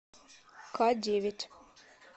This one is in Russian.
к девять